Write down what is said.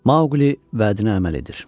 Maqli vədinə əməl edir.